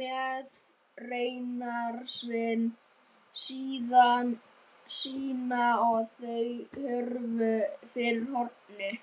meðreiðarsvina sína og þau hurfu fyrir horn.